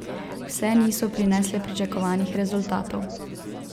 Vse niso prinesle pričakovanih rezultatov.